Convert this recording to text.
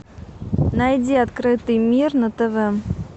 найди открытый мир на тв